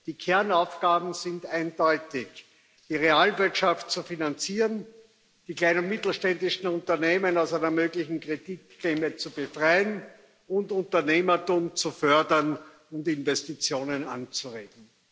Die Kernaufgaben sind eindeutig die Realwirtschaft zu finanzieren, die kleinen und mittelständischen Unternehmen aus einer möglichen Kreditklemme zu befreien und Unternehmertum zu fördern und Investitionen anzuregen.